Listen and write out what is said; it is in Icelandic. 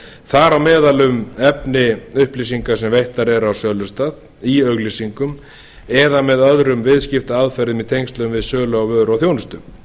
þar á meðal um efni upplýsinga sem veittar eru á sölustað í auglýsingum eða með öðrum viðskiptaaðferðum í tengslum við sölu á vöru og þjónustu